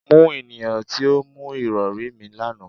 Mu eniyan ti o mu irọri mi, lana